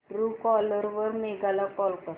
Truecaller वर मेघा ला call कर